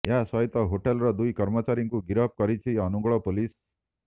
ଏହା ସହିତ ହୋଟେଲର ଦୁଇ କର୍ମଚାରୀଙ୍କୁ ଗିରଫ କରିଛି ଅନୁଗୋଳ ପୋଲିସ